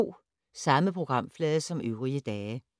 Samme programflade som øvrige dage